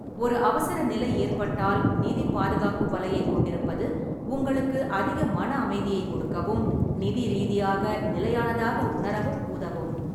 ஒரு அவசரநிலை ஏற்பட்டால் நிதி பாதுகாப்பு வலையைக் கொண்டிருப்பது உங்களுக்கு அதிக மன அமைதியைக் கொடுக்கவும், நிதி ரீதியாக நிலையானதாக உணரவும் உதவும்.